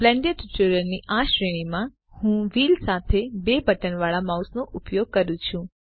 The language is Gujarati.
બ્લેન્ડર ટ્યુટોરીયલની આ શ્રેણીમાં હું વ્હીલ સાથે 2 બટન વાળા માઉસ નો ઉપયોગ કરું છું